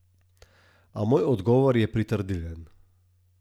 A moj odgovor je pritrdilen.